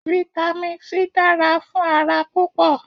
Vitamin C dára fún ara púpọ̀